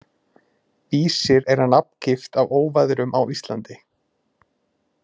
Vísir er að nafngift á óveðrum á Íslandi.